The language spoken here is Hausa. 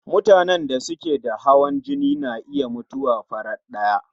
Mutanen da suke da hawan jini na iya mutuwa farat ɗaya